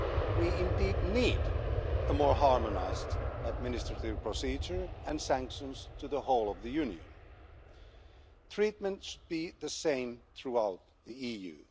We indeed need a more harmonised administrative procedure and sanctions to the whole of the Union. Treatment should be the same throughout the EU.